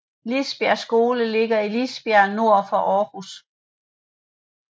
Lisbjergskolen ligger i Lisbjerg nord for Aarhus